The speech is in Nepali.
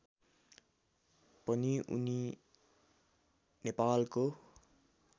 पनि उनी नेपालको